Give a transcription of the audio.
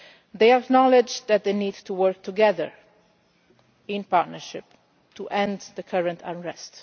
They acknowledged that they need to work together in partnership to end the current unrest.